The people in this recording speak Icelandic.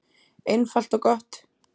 Einfalt og gott.